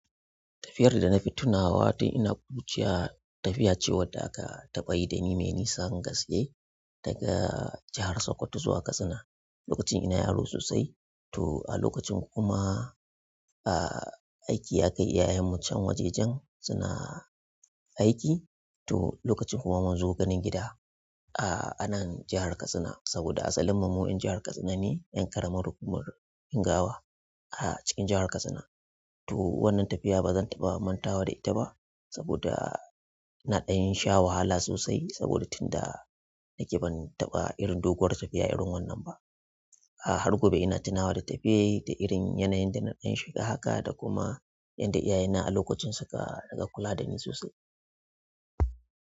Tafiyar da na fi tunawa tun ina ƙuruciya tafiya ce wadda aka taɓa yi da ni mai nisan gaske daga jahar Sokoto zuwa Katsina. Lokacin ina yaro sosai to a lokacin kuma, a, aiki ya kai iyayenmu can waje jan suna aiki to lokacin kuma mun zo ganin gida, a, anan jahar Katsina saboda asalin mu 'yan jahar Katsina ne 'yan ƙaramar hukumar Ingawa a cikin jahar Katsina. To wannan tafiya bazan taɓa mantawa da ita ba, saboda na ɗan sha wahala sosai saboda tunda nake ban taɓa irin doguwar tafiya irin wannan ba a har gobe ina tunawa da tafiyar da irin yanayin da na ɗan shiga haka da kuma yanda iyaye na a lokacin suka riƙa kula da ni sosai.